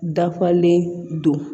Dafalen don